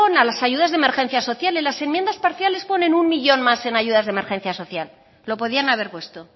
a las ayudas de emergencia social en las enmiendas parciales ponen un millón más en ayudas de emergencia social lo podían haber puesto